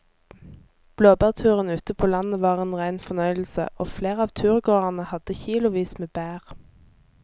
Blåbærturen ute på landet var en rein fornøyelse og flere av turgåerene hadde kilosvis med bær.